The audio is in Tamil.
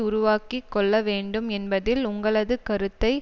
உருவாக்கி கொள்ளவேண்டும் என்பதில் உங்களது கருத்தை